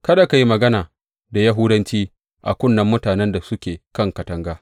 Kada ka yi mana magana da Yahudanci a kunnen mutanen da suke kan katanga.